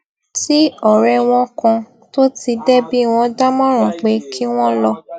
tí òré wọn kan tó ti dẹbí wón dámòràn pé kí wón lọ